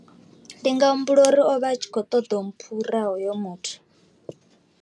Ndi nga humbula uri o vha a tshi kho ṱoḓa u mphura hoyo muthu.